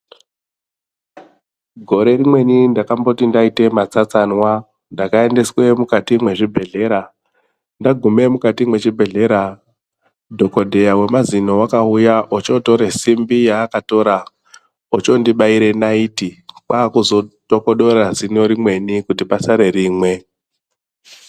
Gore rinweni ndakamboti ndaite matsatsanwa ndakaendeswe mukati mwezvibhedhleya ndagume mujati mwechibhodhleya dhokodheya wemazino wakauya ochotore simbi yaakatora ochondibaire naiti kwakuzotokodore zino rimweni kuti pasare rimwe.